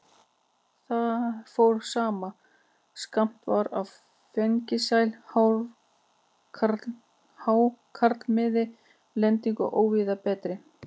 Þar fór saman, að skammt var á fengsæl hákarlamið og lending óvíða betri.